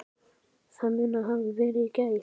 Það mun hafa verið í gær.